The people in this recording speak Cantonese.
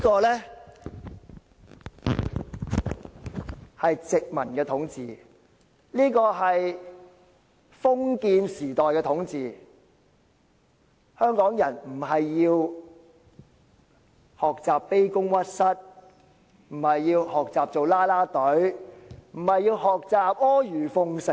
這是殖民統治，也是封建時代的統治，香港人不是要學習卑躬屈膝，不是要學習成為"啦啦隊"，也不是要學習阿諛奉承。